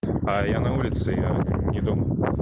а я на улице я не дома